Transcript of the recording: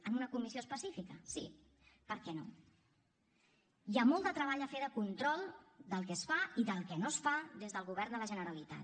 en una comissió específica sí per què no hi ha molt de treball a fer de control del que es fa i del que no es fa des del govern de la generalitat